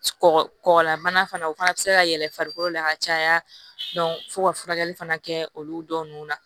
Kɔkɔ kɔgɔlabana fana o fana bɛ se ka yɛlɛn farikolo la ka caya fo ka furakɛli fana kɛ olu dɔw nun na